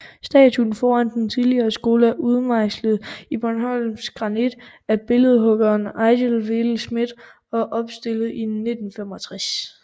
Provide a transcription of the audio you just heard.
Statuen foran den tidligere skole er udmejslet i bornholmsk granit af billedhuggeren Eigil Vedel Schmidt og opstillet i 1965